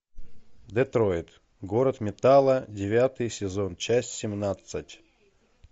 детройт город металла девятый сезон часть семнадцать